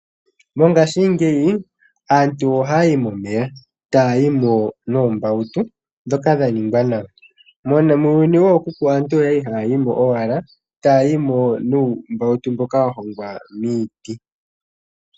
Mongashingeyi aantu ohaya yi momeya, taya yimo noombautu ndhoka dhaningwa nawa. Muuyuni wookuku aantu oyali haya yimo owala nuumbawutu mboka wahongwa miiti.